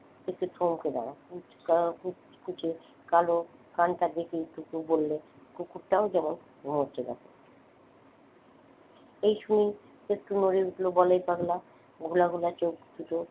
একটু থমকে দাঁড়ায় কালো কুচকুচে কালো কানটা দেখেই টুকু বললে কুকুরটাও যেমন ঘুমাচ্ছে দেখো এই শুনেই একটু নড়ে উঠলো বলায় পাগলা ঘোলা ঘোলা চোখদুটো